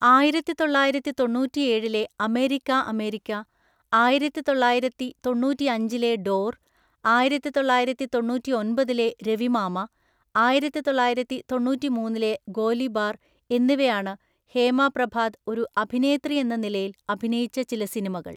ആയിരത്തിതൊള്ളായിരത്തിതൊണ്ണൂറ്റിഎഴിലെ America America, ആയിരത്തിതൊള്ളായിരത്തിതൊണ്ണൂറ്റിഅഞ്ചിലെ door, ആയിരത്തിതൊള്ളായിരത്തിതൊണ്ണൂറ്റിഒന്‍പതിലെ രവിമാമ, ആയിരത്തി തൊള്ളായിരത്തി തൊണ്ണൂറ്റിമൂന്നിലെ ഗോലിബാർ എന്നിവയാണ് ഹേമ പ്രഭാത് ഒരു അഭിനേത്രിയെന്ന നിലയിൽ അഭിനയിച്ച ചില സിനിമകൾ.